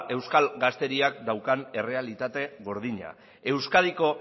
euskal gazteriak daukan errealitate gordina euskadiko